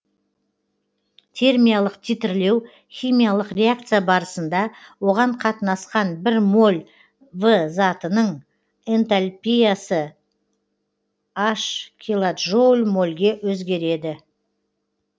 термиялық титрлеу химиялық реакция барысында оған қатынасқан бір моль в затының энтальпиясы н килоджоуль мольге өзгереді